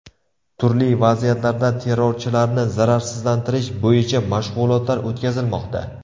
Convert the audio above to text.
Turli vaziyatlarda terrorchilarni zararsizlantirish bo‘yicha mashg‘ulotlar o‘tkazilmoqda.